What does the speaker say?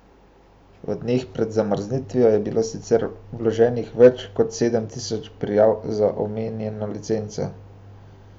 V dneh pred zamrznitvijo je bilo sicer vloženih več kot sedem tisoč prijav za omenjeno licenco.